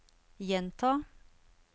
gjenta